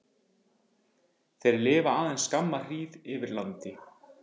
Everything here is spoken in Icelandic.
Þeir lifa aðeins skamma hríð yfir landi.